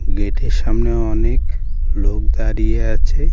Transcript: গেটের সামনে অনেক লোক দাঁড়িয়ে আছে।